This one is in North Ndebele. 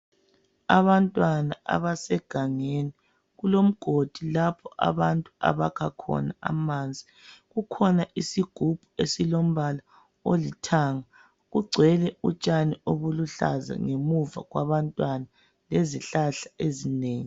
Abantwana abasegangeni kulomgodi lapha abantu abakha khona amanzi kukhona isigubhu esilombala olithanga kugcwele utshani obuluhlaza ngemuva kwabantwana lezihlahla ezinengi.